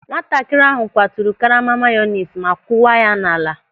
Nwatakịrị ahụ kwaturu karama mayonis ma kuwa ya n'ala.